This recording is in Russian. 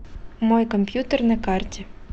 мой компьютер на карте